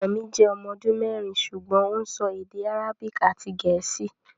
Ọmọ mi jẹ́ ọmọ ọdún mẹ́rin ṣùgbọ́n ó ń sọ èdè Arabic àti Gẹ̀ẹ́sì